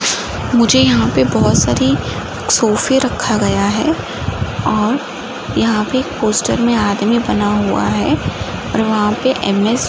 मुझे यहाँ पे बहोत सारी सोफे रखा गया है और यहाँ पे पोस्टर आदमी बना हुआ है और वहाँ पे ऍम एस --